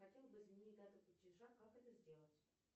хотела бы изменить дату платежа как это сделать